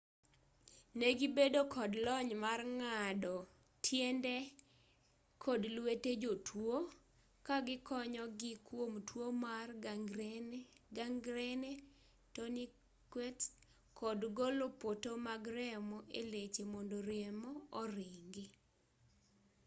negibedo kod lony mar ng'ato tiende kod lwete jotuo kagikonyogii kuom tuo mar gangrene tourniquets kod golo poto mag remo eleche mondo remo oringi